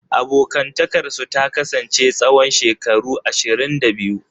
Abokantakarsu ta kasance tsawon shekaru ashirin da biyu.